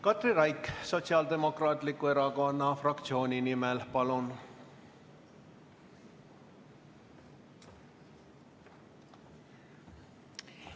Katri Raik Sotsiaaldemokraatliku Erakonna fraktsiooni nimel, palun!